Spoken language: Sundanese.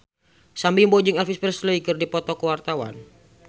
Sam Bimbo jeung Elvis Presley keur dipoto ku wartawan